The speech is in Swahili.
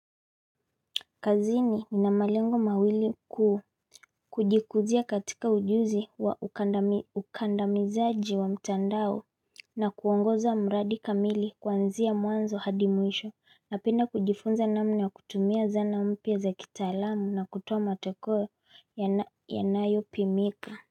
Kazini ninamalengo mawili kujikuzia katika ujuzi wa ukandamizaji wa mtandao na kuongoza mradi kamili kwanzia mwanzo hadi mwisho napenda kujifunza namna ya kutumia zana mpya za kitaalamu na kutoa matokeo yanayopimika.